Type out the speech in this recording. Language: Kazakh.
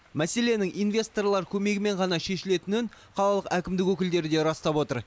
мәселенің инвесторлар көмегімен ғана шешілетінін қалалық әкімдік өкілдері де растап отыр